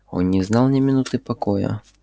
он не знал ни минуты покоя